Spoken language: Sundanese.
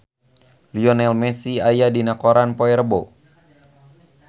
Lionel Messi aya dina koran poe Rebo